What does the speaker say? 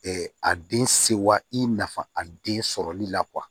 a den sewa i nafa a den sɔrɔli la